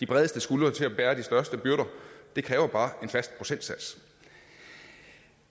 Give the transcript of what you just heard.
bredeste skuldre til at bære de største byrder det kræver bare en fast procentsats